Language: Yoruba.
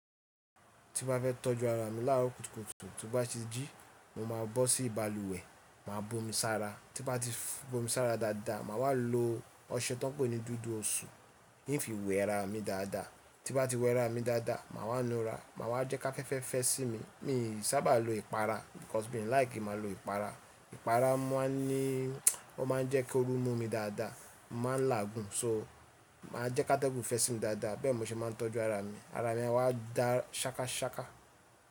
Tí n bá fẹ́ tọ́jú ara mi láro kùtùkùtù, ti n bá ti jí, mo máa bọ́ sí balùwẹ̀, màá bomi sára. Tí bá ti bomi sára dáadáa, màá wá lo ọṣẹ tánpó ní dúdú òṣù, ì fi wẹra mi dáadáa. Tí n bá ti wẹra mi dáadáa, màá wá nura, màá wá jẹ́ ká fẹ́fẹ́ fẹ́ sí mi. Mi sábà lo ìpara because mi like kin màá lo ìpara. Ìpara máa ń ní ó máa ń jẹ́ kí oru mú mi dáadáa, mo màá ń làágùn. So máa jẹ́ kátégùn fẹ́ sí mi dáadáa. Bẹ́ẹ̀ ni mo ṣe máa ń tọ́jú ara mi. Ara mi a wá da ṣákaṣáka.